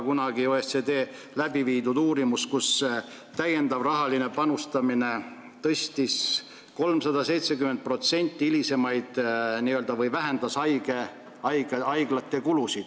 Kunagi tegi OECD uurimuse, mille järgi täiendav rahaline panustamine vähendas haiglate hilisemaid kulusid 370%.